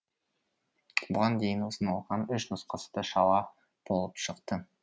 бұған дейін ұсынылған үш нұсқасы да шала болып шықты